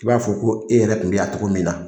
I b'a fɔ ko e yɛrɛ kun bi yan cogo min la.